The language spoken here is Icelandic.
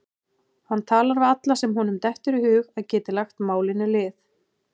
Hann talar við alla sem honum dettur í hug að geti lagt málinu lið.